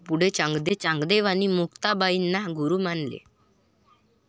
पुढे चांगदेवांनी मुक्ताबाई ना गुरु मानले